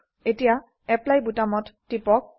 এতিয়া এপ্লাই বোতামত টিপক